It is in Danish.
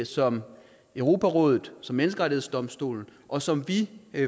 som europarådet som menneskerettighedsdomstolen og som vi